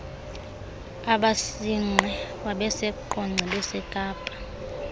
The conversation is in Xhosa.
abasinqe sasiseqonce besekapa